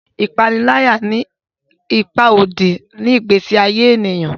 ipanilaya ní ipá òdì ni igbesi aye ènìyàn